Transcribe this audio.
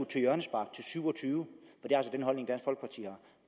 syv og tyve